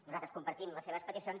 nosaltres compartim les seves peticions